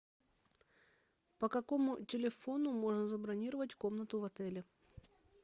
по какому телефону можно забронировать комнату в отеле